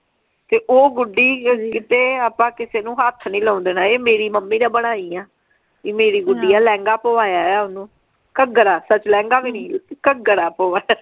ਤੇ ਊ ਗੁਡੀ ਕਿਤੇ ਆਪਾਂ ਕਿਸੇ ਨੂੰ ਹੱਥ ਨਹੀਂ ਲਾਉਣ ਦੇਣਾ ਇਹ ਮੇਰੀ ਮੰਮੀ ਨੇ ਬਣਾਈ ਆ ਇਹ ਮੇਰੀ ਗੁੱਡੀ ਆ ਲਹਿੰਗਾ ਪਵਾਇਆ ਆ ਓਹਨੂੰ ਘੱਗਰਾ ਸੱਚ ਲਹਿੰਗਾ ਵੀ ਨਹੀਂ ਘੱਗਰਾ ਪਵਾਇਆ।